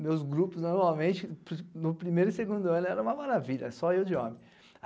meus grupos, normalmente, no primeiro e segundo ano, era uma maravilha, só eu de homem.